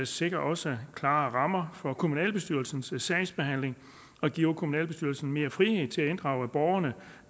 sikrer også klare rammer for kommunalbestyrelsernes sagsbehandling og giver kommunalbestyrelserne mere frihed til at inddrage borgerne